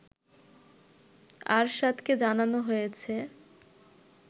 আরশাদকে জানানো হয়েছে